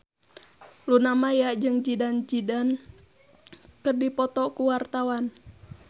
Luna Maya jeung Zidane Zidane keur dipoto ku wartawan